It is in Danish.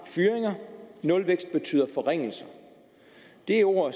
fyringer nulvækst betyder forringelser det er ord